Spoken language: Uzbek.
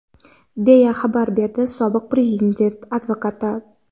deya xabar berdi sobiq Prezident advokati.